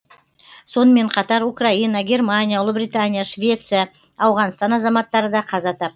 сонымен қатар украина германия ұлыбритания швеция ауғанстан азаматтары да қаза тап